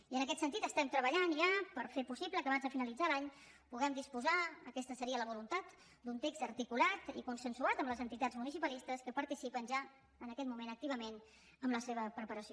i en aquest sentit estem treballant ja per fer possible que abans de finalitzar l’any puguem disposar aquesta seria la voluntat d’un text articulat i consensuat amb les entitats municipalistes que participen ja en aquest moment activament en la seva preparació